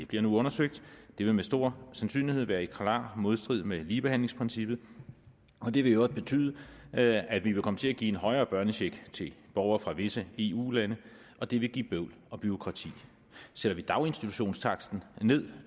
bliver nu undersøgt vil det med stor sandsynlighed være i klar modstrid med ligebehandlingsprincippet og det vil i øvrigt betyde at at vi vil komme til at give en højere børnecheck til borgere fra visse eu lande og det vil give bøvl og bureaukrati sætter vi daginstitutionstaksten ned